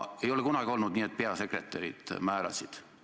Ei ole kunagi olnud nii, et peasekretärid määravad.